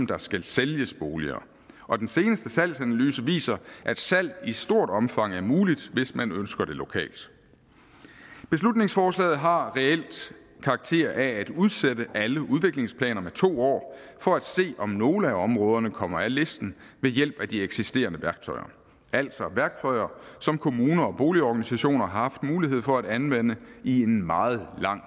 der skal sælges boliger og den seneste salgsanalyse viser at salg i stort omfang er muligt hvis man ønsker det lokalt beslutningsforslaget har reelt karakter af at udsætte alle udviklingsplaner med to år for at se om nogle af områderne kommer af listen ved hjælp af de eksisterende værktøjer altså værktøjer som kommuner og boligorganisationer har haft mulighed for at anvende i en meget lang